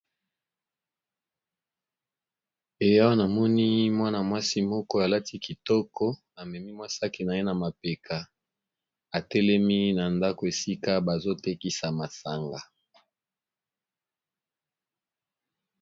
Awa namoni mwana mwasi moko alati kitoko atelemi amami sac naye namapeka